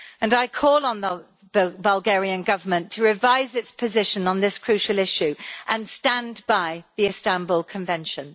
I call on the Bulgarian Government to revise its position on this crucial issue and stand by the Istanbul Convention.